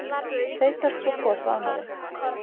Þeytast svo hvor frá annarri.